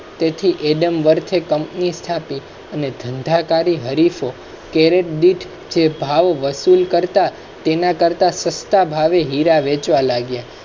adam warth એ company સ્થાપી અને ધંધાદારી હરીફોએ. કેરેટ બીટ જે ભાવ વસૂલ કરતા તેના કરતાં સસ્તા ભાવે હીરા વેચવા લાગ્યા.